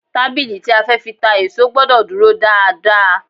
Tábìlì tí a fẹ́ fi ta èso gbọ́dọ̀ dúró dáa dáa.